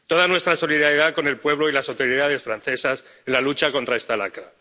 Toda nuestra solidaridad con el pueblo y las autoridades francesas en la lucha contra esta lacra.